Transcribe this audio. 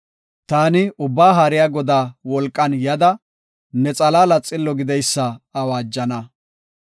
Taani Ubbaa Haariya Godaa wolqan yada; ne xalaala xillo gideysa awaajana.